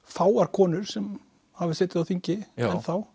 fáar konur sem hafa setið á þingi enn þá